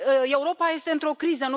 Europa este într o criză.